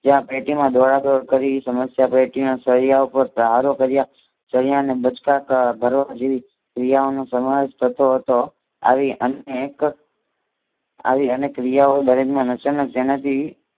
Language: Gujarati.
જ્યાં પેટીમાં ડોળા દોડ કરી સમસ્યા પેટીના સરિયાં ઉપર સહારો કાર્ય સરિયાને બાચકા ભરવા જેવી ક્રિયાઓનો સમાવેશ થતો હતો. આવી અનેક ક્રિયાઓ દરમિયાન અચાનક તેને